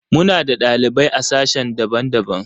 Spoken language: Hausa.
Muna da ɗalibai a sashe daban-daban.